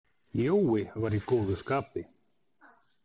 Jói var í góðu skapi.